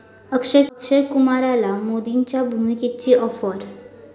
अक्षय कुमारला मोदींच्या भूमिकेची आॅफर